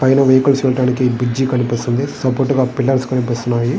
పైన వెహికల్స్ వెళ్లడానికి ఒక బ్రిడ్జి కనిపిస్తున్నది. సపోర్టుగా పిల్లర్స్ కనిపిస్తున్నాయి.